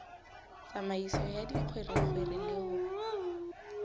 tsamaiso ya dikgwerekgwere le ho